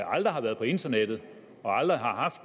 aldrig har været på internettet og aldrig har haft